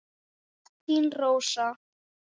Þín Rósa.